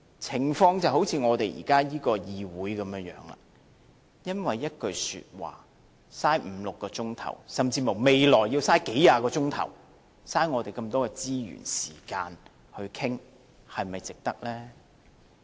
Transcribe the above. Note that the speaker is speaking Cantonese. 情況就像現在這個議會般，因為一句說話，花五六個小時，甚至乎未來要花數十小時，浪費我們這麼多資源、時間去討論，是否值得呢？